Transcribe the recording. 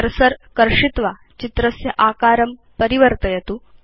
cursor कर्षित्वा चित्रस्य आकारं परिवर्तयतु